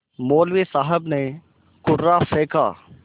मौलवी साहब ने कुर्रा फेंका